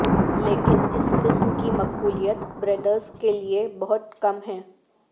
لیکن اس قسم کی مقبولیت بریڈرس کے لئے بہت کم ہے